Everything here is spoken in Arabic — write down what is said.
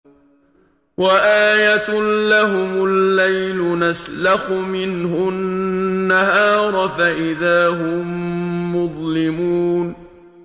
وَآيَةٌ لَّهُمُ اللَّيْلُ نَسْلَخُ مِنْهُ النَّهَارَ فَإِذَا هُم مُّظْلِمُونَ